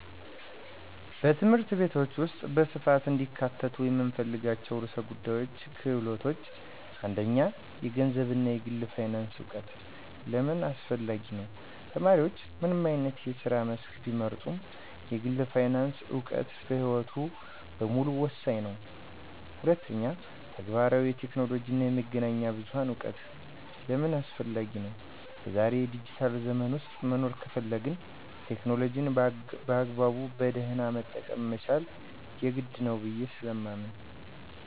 በትምህርት ቤቶች ውስጥ በስፋት እንዲካተቱ የምፈልጋቸው ርዕሰ ጉዳዮችና ክህሎቶች፦ 1. የገንዘብ እና የግል ፋይናንስ እውቀት * ለምን አስፈላጊ ነው? ተማሪዎች ምንም አይነት የስራ መስክ ቢመርጡ፣ የግል ፋይናንስ እውቀት በሕይወታቸው በሙሉ ወሳኝ ነው። 2. ተግባራዊ የቴክኖሎጂ እና የመገናኛ ብዙሃን እውቀት * ለምን አስፈላጊ ነው? በዛሬው ዲጂታል ዘመን ውስጥ መኖር ከፈለግን፣ ቴክኖሎጂን በአግባቡና በደህና መጠቀም መቻል የግድ ነው ብየ ስለማምን።